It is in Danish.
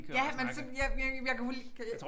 Ja men så ja men jeg kan få lige kan jeg